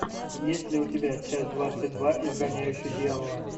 есть ли у тебя часть двадцать два изгоняющий дьявола